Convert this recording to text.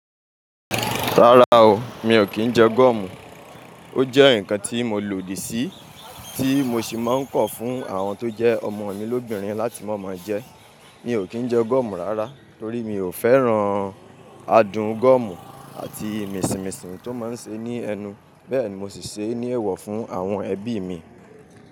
Rárá o, mi ò kí ń jẹ gúọ̀mù. Ó jẹ́ ǹkan tí mo lòdì sí tí mo sì máa ń kọ̀ fún àwọn tó jẹ́ ọmọ mi lóbìnrin láti máa máa jẹ́. Mi ò kí ń jẹ gúọ̀mù rárá torí mi ò fẹ́ràn adùn gúọ̀mù àti mìnsìmìsìn tí ó máa ń ṣe ní ẹnu. Bẹ́ẹ̀ ni mo sì ṣe ní èwọ̀ fún àwọn ẹbí mi.